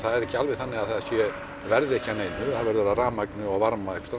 ekki alveg þannig að það verði ekki að neinu það verður að rafmagni og varma einhvers